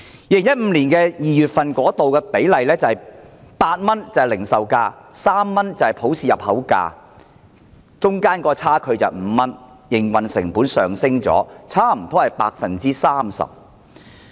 2015年2月份，零售價是8元，普氏平均價是3元，兩者的差距是5元，營運成本上升差不多 30%。